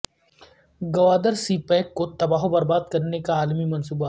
Gwadar CPEC کو تباہ و برباد کرنے کا عالمی منصوبہ